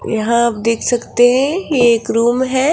यहां आप देख सकते है ये एक रूम है।